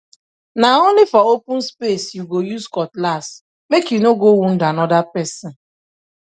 na only for open space you go use cutlassmake you no go wound another person